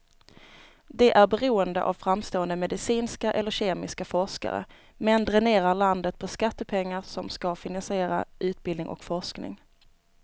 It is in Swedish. Det är beroende av framstående medicinska eller kemiska forskare, men dränerar landet på skattepengar som ska finansiera utbildning och forskning.